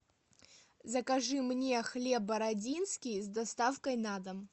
закажи мне хлеб бородинский с доставкой на дом